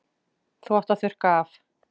Þú átt að þurrka af.